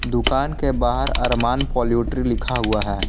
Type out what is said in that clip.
दुकान के बाहर अरमान पोल्ट्री लिखा हुआ है।